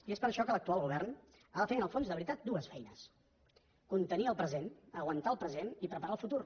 i és per això que l’actual govern ha de fer en el fons de veritat dues feines contenir el present aguantar el present i preparar el futur